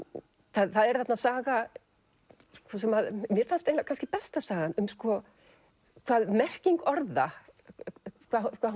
það er þarna saga sem að mér fannst eiginlega besta sagan um sko merkingu orða hvað